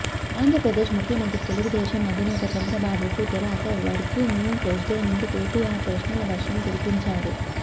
ఆంధ్రప్రదేశ్ ముఖ్యమంత్రి తెలుగుదేశం అధినేత చంద్రబాబు కు తెరాస వర్కింగ్ ప్రెసిడెంట్ కేటీఆర్ ప్రశ్నల వర్షం కురిపించారు